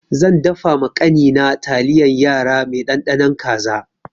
Zan dafa ma ƙani na taliyan yara mai ɗanɗanon kaza.